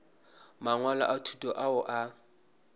mangwalo a thuto ao a